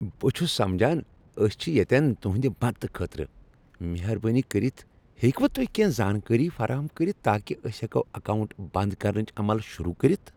بہٕ چھس سمجان۔ أسۍ چھ ییتٮ۪ن تُہندِ، مدتہٕ خٲطرٕ۔ مہربٲنی کٔرِتھ ہیکہٕ وہ تُہۍ کینٛہہ زانکٲری فراہم کٔرتھ تاکہ أسۍ ہیکو اکاونٹ بند کرنٕچ عمل شروع کٔرتھ ۔